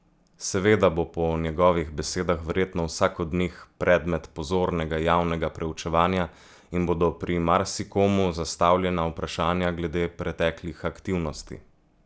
Seveda bo po njegovih besedah verjetno vsak od njih predmet pozornega javnega preučevanja in bodo pri marsikomu zastavljena vprašanja glede preteklih aktivnosti.